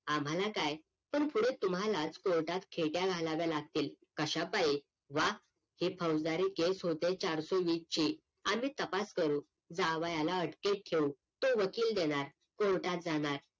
आम्हाला काय पण पुढे तुम्हालाच COURT त खेट्या घालाव्या लागतील कशा पाई वाद हे फौसदरी केस होते चारसो वीसची आम्ही तपास करू जावायाला अटकेत घेऊ तो वकील देणार COURT त जाणार